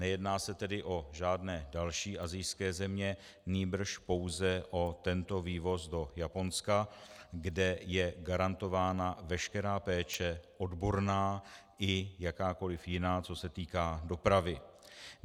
Nejedná se tedy o žádné další asijské země, nýbrž pouze o tento vývoz do Japonska, kde je garantována veškerá péče odborná i jakákoliv jiná, co se týká dopravy.